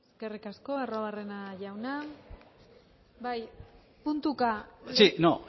eskerrik asko arruabarrena jauna bai puntuka sí no